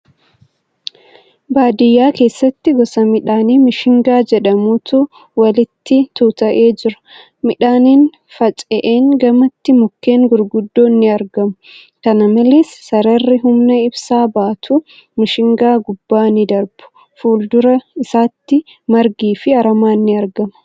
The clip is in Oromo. Baadiyyaa keessatti gosa midhaanii mishingaa jedhamutu walitti tuuta'ee jira. Midhaaniin faca'een gamatti mukkeen gurguddoon ni argamu. Kana malees, sararri humna ibsaa baatu mishingaa gubbaa ni darbu. Fuuldura isaatti margi fi aramaan ni argama.